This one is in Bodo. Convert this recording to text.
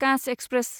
काच एक्सप्रेस